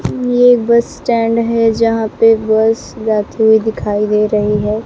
ये bus stand है जहां पे बस जाती हुई दिखाई दे रही है।